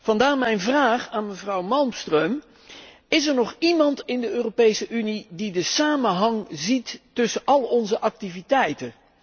Vandaar mijn vraag aan mevrouw Malmström is er nog iemand in de Europese Unie die de samenhang ziet tussen al onze activiteiten?